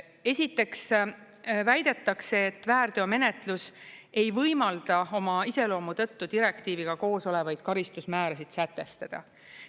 Esiteks väidetakse, et väärteomenetlus ei võimalda oma iseloomu tõttu direktiiviga koos olevaid karistusmäärasid sätestada.